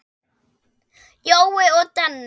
Jói og Denni.